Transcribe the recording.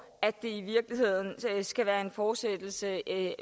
at det i virkeligheden skal være en fortsættelse af